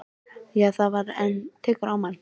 Það er hægt. en tekur á mann.